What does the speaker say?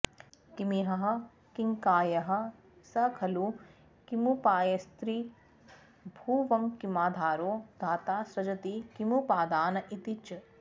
किमीहः किङ्कायः स खलु किमुपायस्त्रिभुवनङ्किमाधारो धाता सृजति किमुपादान इति च